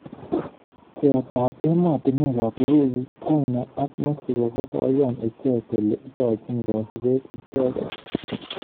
Pcheet ab emotunwek ab Urusi china ak mexico kokoiyan icheket kole ikochin kasubet icheket.